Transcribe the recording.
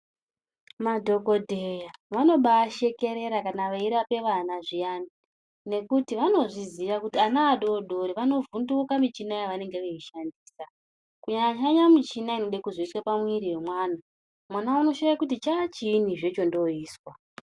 Madhokodheya vanobashekerera kana vachirapa vana zviyani nekuti vanozviziva kuti vana vadodori vanovhunduka michina yavanenge veishandisa kunyanyanya michina inode kuzoiswe pamuviri wemwana mwana anoshaya kuti chachiini zvee chondoiswa .